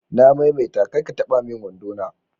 Na mai mai ta kar ka taba min wando na